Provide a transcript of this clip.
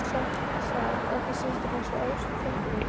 Sat ekki systir hans í efstu tröppunni!